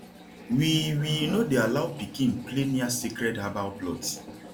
we we no dey allow pikin play near sacred herbal plots